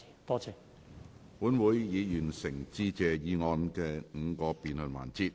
本會已完成致謝議案的5個辯論環節。